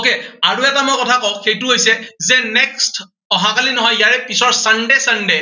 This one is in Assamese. okay আৰু এটা মই কথা কওঁ, সেইটো হৈছে যে next অহা কালি নহয়, ইয়াৰে পিছৰ sunday,